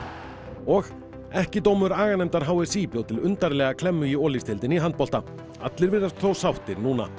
og ekki dómur bjó til undarlega klemmu í Olísdeildinni í handbolta allir virðast þó sáttir